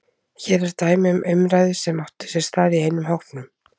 Hér er dæmi um umræðu sem átti sér stað í einum hópnum